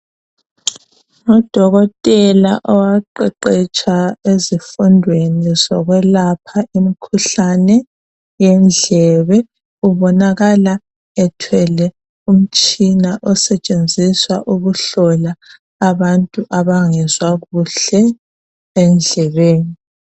Udokotela owaqeqetsha ezifundweni zokwelapha imikhuhlane yendlebe ubonakala ethwele umtshina osetshenziswa ukuhlola abantu abangezwa kuhle endlebeni .